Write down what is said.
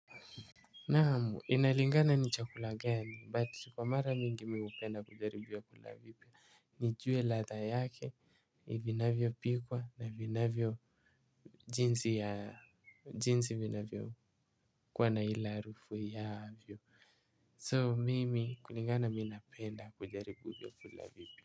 Naam inalingana ni chakula gani, but kwa mara mingi mimi upenda kujaribu vyakula vipya. Nijue ladha yake, vinavyopikwa na vinavyo jinsi ya, jinsi vinavyo kuwa na ile harufu yavyo. So, mimi, kulingana mimi napenda kujaribu vyakula vipya.